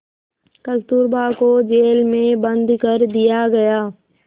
कस्तूरबा को जेल में बंद कर दिया गया